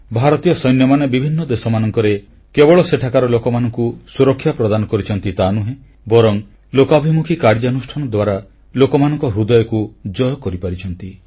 ଭାରତୀୟ ସୈନ୍ୟମାନେ ବିଭିନ୍ନ ଦେଶମାନଙ୍କରେ କେବଳ ସେଠାକାର ଲୋକମାନଙ୍କୁ ସୁରକ୍ଷା ପ୍ରଦାନ କରିଛନ୍ତି ତାହାନୁହେଁ ବରଂ ଲୋକାଭିମୁଖୀ କାର୍ଯ୍ୟାନୁଷ୍ଠାନ ଦ୍ୱାରା ଲୋକମାନଙ୍କ ହୃଦୟକୁ ଜୟ କରିଛନ୍ତି